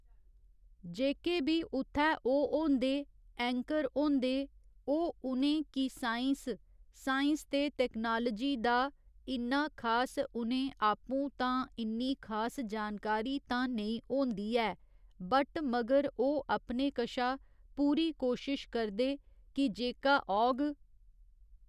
जेह्के बी उत्थै ओह् होंदे ऐंकर होंदे ओह् उ'नें कि साईंस साईंस ते टैक्नोलाजी दा इन्ना खास उ'नें आपूं तां इन्नी खास जानकारी तां नेईं होंदी ऐ बट मगर ओह् अपने कशा पूरी कोशिश करदे कि जेह्का औग